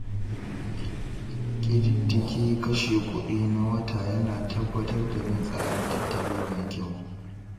ƙididdige kashe kuɗi na wata yana tabbatar da bin tsarin tattali mai kyau.